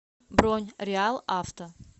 бронь реалавто